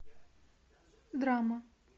драма